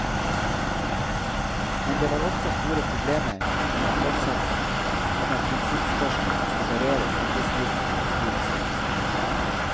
Men det var også store problemer med akkordsatsene og med prinsippspørsmål som berører arbeidsgivernes styringsrett.